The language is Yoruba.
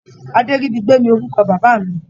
Adéríbigbé ni orúkọ bàbá mi.